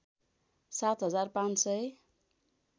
सात हजार पाँच सय